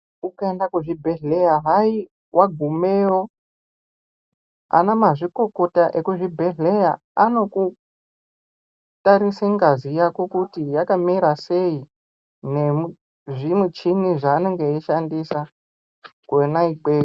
Ukaenda kuzvibhedhleya hai wagumeyo anamazvikokota ekuzvibhedhleya anokutarisa ngazi yako kuti yakamira sei nemuzvimuchini zvaanenge eshandisa kona ikweyo.